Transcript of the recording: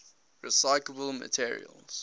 recyclable materials